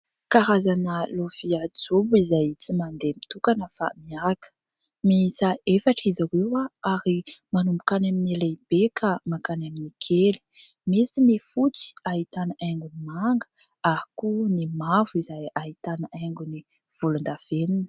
Karazana lovia jobo izay tsy mandeha mitokana fa miaraka. Miisa efatra izy ireo ary manomboka any amin'ny lehibe ka mankany amin'ny kely. Misy ny fotsy ahitana haingony manga ary ihany koa ny mavo izay ahitana haingony volondavenina.